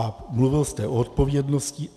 A mluvil jste o odpovědnosti.